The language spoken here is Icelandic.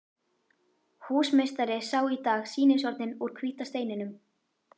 Húsameistari sá í dag sýnishornin úr hvíta steininum.